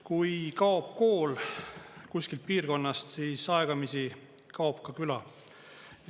Kui kaob kool kuskilt piirkonnast, siis aegamisi kaob ka küla.